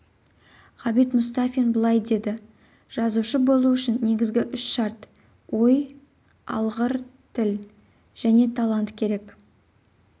ғабит мұстафин былай деді жазушы болу үшін негізігі үш шарт ой алғыр тіл және талант керек